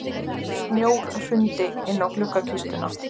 Snjór hrundi inn á gluggakistuna.